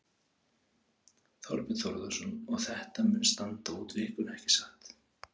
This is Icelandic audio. Þorbjörn Þórðarson: Og þetta mun standa út vikuna, ekki satt?